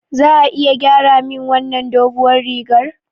Za a iya gyara min wannan doguwar rigar?